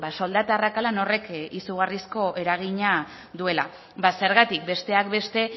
soldata arrakalan horrek izugarrizko eragina duela zergatik besteak beste